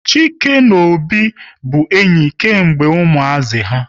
Chike na Obi bụ enyi kemgbe ụmuazi ha